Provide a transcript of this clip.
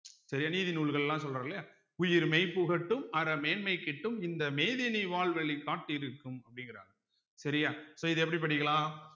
சரியா நீதி நூல்கள் எல்லாம் சொல்றோம் இல்லையா உயிர் மெய் புகட்டும் அற மேன்மை கிட்டும் இந்த மேதினி வாழ்வழி காட்டிருக்கும் அப்படிங்கிறாங்க சரியா so இத எப்படி படிக்கலாம்